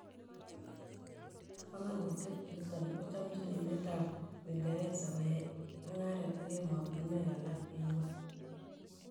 Panganutiet niton kochmamjin emet ab Uingereze koyai mung'aret ak emotinwek alak en ngwony